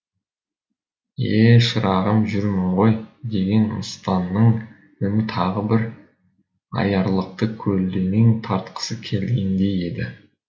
е шырағым жүрмін ғой деген мыстанның үні тағы да бір аярлықты көлденең тартқысы келгендей еді